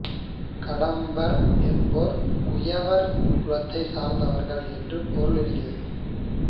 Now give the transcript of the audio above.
கடம்பர் என்போர் குயவர் குலத்தை சார்ந்தவர் என்று பொருள் இருக்கிறது